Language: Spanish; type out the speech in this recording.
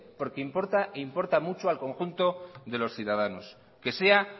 porque importa e importa mucho al conjunto de los ciudadanos que sea